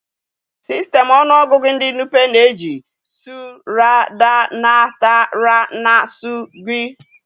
Sistemu ọnụọgụgụ ndi Nupe na-eji tsu, ra, da, na, ta, ra na tsu, wdg.